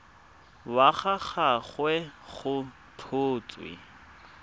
wa ga gagwe go tlhotswe